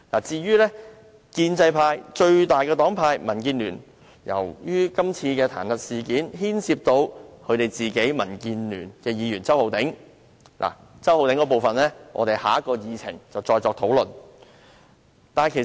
至於建制派最大黨派民建聯，今次彈劾事件亦牽涉民建聯的周浩鼎議員，有關周議員的那部分，我們留待下一項議程再作討論。